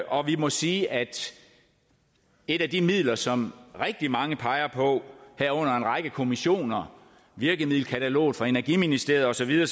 og vi må sige at et af de midler som rigtig mange peger på herunder en række kommissioner virkemiddelkataloget fra energiministeriet og så videre